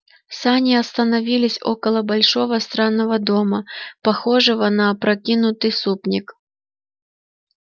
сани остановились около большого странного дома похожего на опрокинутый супник